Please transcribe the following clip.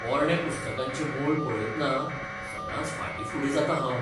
पोरण्या पुस्तकांचें मोल पळयतना सदांच फाटीं फुडें जातां हांव.